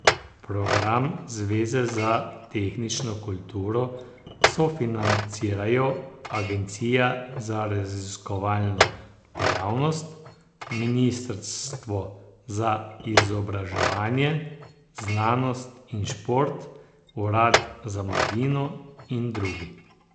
Program zveze za tehnično kulturo sofinancirajo agencija za raziskovalno dejavnost, ministrstvo za izobraževanje, znanost in šport, urad za mladino in drugi.